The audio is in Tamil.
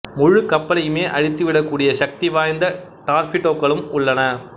முழுக் கப்பலையுமே அழித்துவிடக் கூடிய சக்தி வாய்ந்த டார்பிடோக்களும் உள்ளன